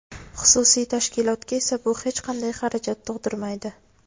Xususiy tashkilotga esa bu hech qanday xarajat tug‘dirmaydi.